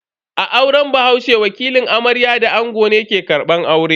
A auren bahaushe, wakilin amarya da ango ne ke karbar aure.